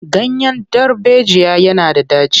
Ganyen darbejiya yana da ɗaci.